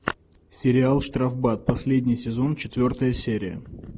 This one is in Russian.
сериал штрафбат последний сезон четвертая серия